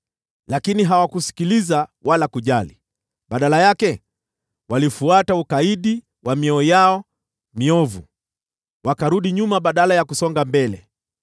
Lakini hawakusikiliza wala kujali. Badala yake, walifuata ukaidi wa mioyo yao miovu. Walirudi nyuma badala ya kusonga mbele.